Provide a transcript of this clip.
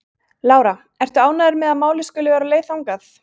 Lára: Ertu ánægður með að málið skuli vera á leið þangað?